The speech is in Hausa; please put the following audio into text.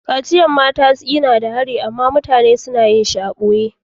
Kaciyan mata na da hari amma mutane suna yin shi a'boye.